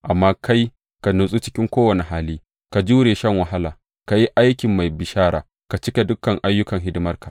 Amma kai, ka natsu cikin kowane hali, ka jure shan wahala, ka yi aikin mai bishara, ka cika dukan ayyukan hidimarka.